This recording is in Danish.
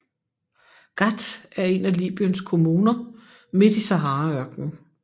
Ghat er en af Libyens kommuner midt i Saharaørknen